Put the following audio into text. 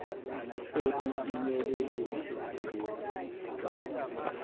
ekufinyeleleni kulezi zinhloso